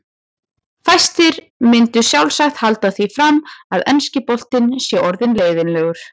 Fæstir myndu sjálfsagt halda því fram að enski boltinn sé orðinn leiðinlegur.